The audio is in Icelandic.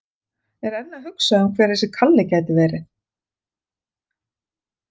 Enn að hugsa um hver þessi Kalli gæti verið.